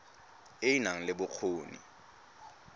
e e nang le bokgoni